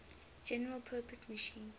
general purpose machine